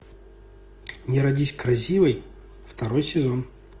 не родись красивой второй сезон